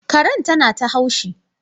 Karen na ta haushi.